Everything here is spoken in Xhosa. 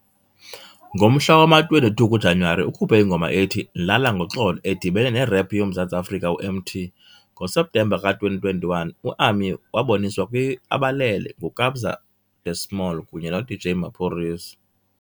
Ngomhla wama-22 kuJanyuwari, ukhuphe ingoma ethi "Lala Ngoxolo" edibene nerap yoMzantsi Afrika u-Emtee. NgoSeptemba ka-2021, uAmi waboniswa kwi-"Abalele" nguKabza de Small kunye noDJ Maphorisa.